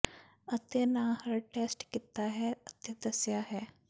ਅਤੇ ਨਾ ਹਰ ਟੈਸਟ ਕੀਤਾ ਹੈ ਅਤੇ ਦੱਸਿਆ ਹੈ